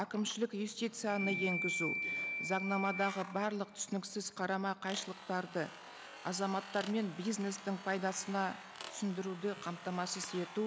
әкімшілік юстицияны енгізу заңнамадағы барлық түсініксіз қарама қайшылықтарды азаматтармен бизнестің пайдасына түсіндіруді қамтамасыз ету